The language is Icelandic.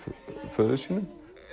föður sínum